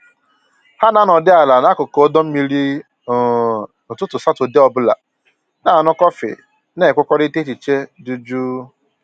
Ha na anọdị ala n'akụkụ ọdọ mmiri um n'ụtụtụ Satọdee ọ bụla, na aṅụ kọfị na enwekọrịta echiche dị jụụ